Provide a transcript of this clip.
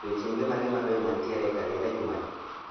Odiechienge mage mabeyo mantiere e kalenda jumani?